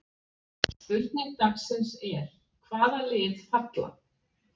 Spurning dagsins er: Hvaða lið falla?